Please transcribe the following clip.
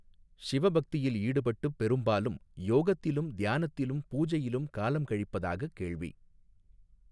ஷிவ பக்தியில் ஈடுபட்டுப் பெரும்பாலும் யோகத்திலும் தியானத்திலும் பூஜையிலும் காலம்கழிப்பதாகக் கேள்வி.